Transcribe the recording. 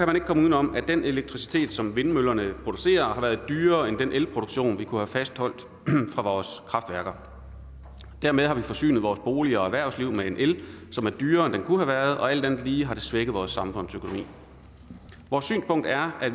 man ikke komme udenom at den elektricitet som vindmøllerne producerer har været dyrere end den elproduktion vi kunne have fastholdt fra vores kraftværker dermed har vi forsynet vores boliger og erhvervslivet med en el som er dyrere end den kunne have været og alt andet lige har det svækket vores samfundsøkonomi vores synspunkt er at